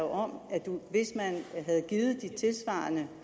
om at hvis man havde givet de tilsvarende